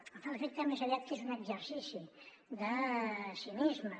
em fa l’efecte més aviat que és un exercici de cinisme